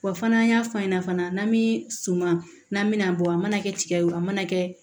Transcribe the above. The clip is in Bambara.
Wa fana an y'a fɔ an ɲɛna fana n'an bɛ suman n'an mɛna bɔ a mana kɛ tigɛ ye o a mana kɛ